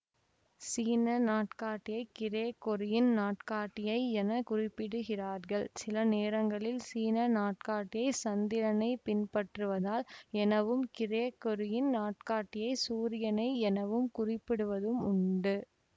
சீன நாட்காட்டியை கிரேகொரியின் நாட்காட்டியை என குறிப்பிடுகிறார்கள் சில நேரங்களில் சீன நாட்காட்டியைசந்திரனை பின்பற்றுவதால் எனவும் கிரேகொரியின் நாட்காட்டியைசூரியனை எனவும் குறிப்பிடப்படுவதும் உண்டு